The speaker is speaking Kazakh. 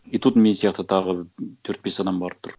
и тут мен сияқты тағы төрт бес адам барып тұр